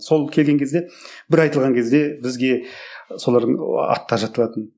сол келген кезде бір айтылған кезде бізге солардың аттары жатталатын